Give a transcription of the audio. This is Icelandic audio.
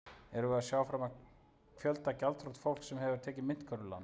Erum við að sjá fram á fjölda gjaldþrot fólks sem hefur tekið myntkörfulán?